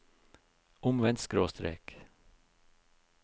omvendt skråstrek